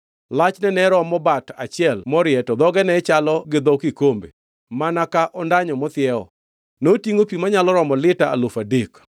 Lachne ne romo bat achiel morie to dhoge ne chalo gi dho kikombe, mana ka ondanyo mathiewo. Notingʼo pi manyalo romo lita alufu adek.